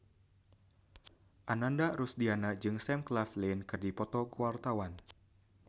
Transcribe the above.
Ananda Rusdiana jeung Sam Claflin keur dipoto ku wartawan